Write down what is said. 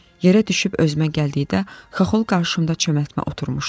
Yerə düşüb özümə gəldikdə Xaxol qarşımda çömətmə oturmuşdu.